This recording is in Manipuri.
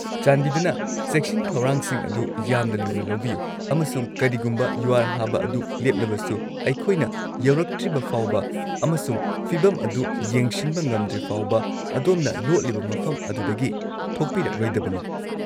ꯆꯥꯟꯕꯤꯗꯨꯅ ꯆꯦꯛꯁꯤꯟ ꯊꯧꯔꯥꯡꯁꯤꯡ ꯑꯗꯨ ꯌꯥꯝꯅ ꯂꯨꯅ ꯂꯧꯕꯤꯌꯨ ꯑꯃꯁꯨꯡ ꯀꯔꯤꯒꯨꯝꯕ ꯌꯨꯍꯥꯔ ꯍꯥꯕ ꯑꯗꯨ ꯂꯦꯞꯂꯕꯁꯨ, ꯑꯩꯈꯣꯏꯅ ꯌꯧꯔꯛꯇ꯭ꯔꯤꯕꯐꯥꯎꯕ ꯑꯃꯁꯨꯡ ꯐꯤꯚꯝ ꯑꯗꯨ ꯌꯦꯡꯁꯤꯟꯕ ꯉꯝꯗ꯭ꯔꯤꯐꯥꯎꯕ ꯑꯗꯣꯝꯅ ꯂꯣꯠꯂꯤꯕ ꯃꯐꯝ ꯑꯗꯨꯗꯒꯤ ꯊꯣꯛꯄꯤꯔꯛꯂꯣꯏꯗꯕꯅꯤ꯫